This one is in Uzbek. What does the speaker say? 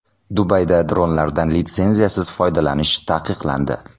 Dubayda dronlardan litsenziyasiz foydalanish taqiqlandi.